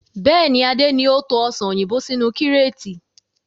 Bẹ́ẹ̀ni, Adé ni o to Ọsàn òyìnbó sínú kíreetì.